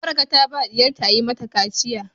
Baraka ta ba diyarta a Yi mata kaciya.